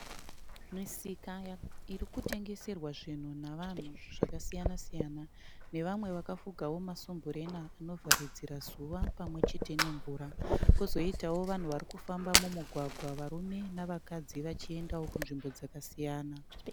Misika irikutengeserwa zvinhu navanhu zvakasiyana siyana nevamwe vakafugawo masumburena anovharidzira zuva pamwe chete nemvura. Kozoitawo vanhu varikufamba mumugwagwa varume navakadzi vachiendawo kunzvimbo dzakasiyana.